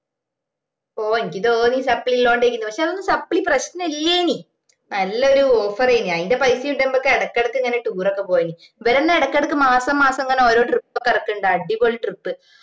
ഓ അനക്ക് തോന്നി supply ഇള്ളോണ്ടാരിക്കുമെന്ന് പക്ഷെ അതൊന്നും supply പ്രശ്നോല്ലിനി നല്ലൊരു offer ഏനും അയിന്റെ പൈസ ഇണ്ടേൽ ഞമ്മക്ക് ഇടക്കിടക്ക് ഇങ്ങനെ tour പോവേനും ഇവരെന്ന ഇടക്കിടക്ക് ഇങ്ങനെ മാസം മാസം ഓരോ trip ഒക്കെ ഇറക്കിന്നുണ്ട് അടിപൊളി trip